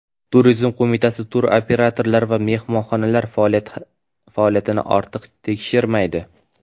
Turizm qo‘mitasi turoperatorlar va mehmonxonalar faoliyatini ortiq tekshirmaydi.